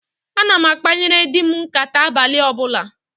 Ana m akpanyere di m nkàtá abalị ọbụla